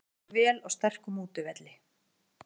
Stóðum okkur vel á sterkum útivelli